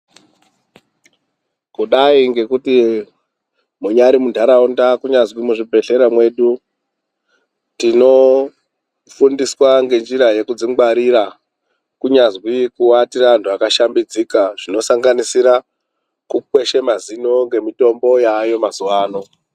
Kudai ngekuti munyari muntaraunda kunyazi muzvibhedhlera mwedu tinofundiswa ngenjira yekudzingwarira kunyazwi kuate antu akashambidzika zvinosanganisira kukweshe mazino ngemitombo yaayo mazuwa ano.